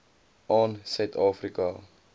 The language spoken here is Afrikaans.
aan suid afrika